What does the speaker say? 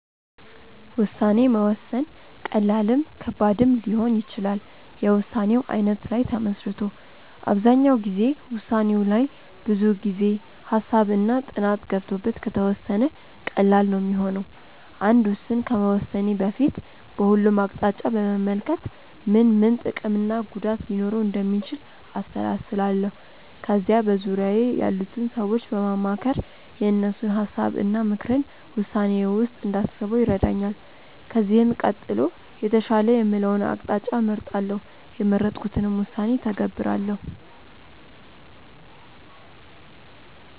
ውሳኔ መወሰን ቀላልም ከባድም ሊሆን ይችላል የውሳኔው አይነት ላይ ተመስርቶ። አብዛኛው ጊዜ ውሳኔው ላይ ብዙ ጊዜ፣ ሃሳብ እና ጥናት ገብቶበት ከተወሰነ ቀላል ነው ሚሆነው። አንድ ውስን ከመወሰኔ በፊት በሁሉም አቅጣጫ በመመልከት ምን ምን ጥቅም እና ጉዳት ሊኖረው እንደሚችል አሰላስላለው። ከዛ በዙርያዬ ያሉትን ሰዎች በማማከር የእነሱን ሀሳብ እና ምክርን ውሳኔዬ ውስጥ እንዳስበው ይረዳኛል። ከዚህም ቀጥሎ የተሻለ የምለውን አቅጣጫ እመርጣለው። የመረጥኩትንም ውሳኔ እተገብራለው።